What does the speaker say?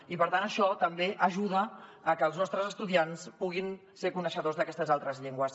i per tant això també ajuda a que els nostres estudiants puguin ser coneixedors d’aquestes altres llengües